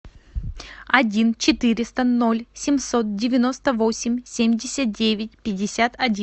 один четыреста ноль семьсот девяносто восемь семьдесят девять пятьдесят один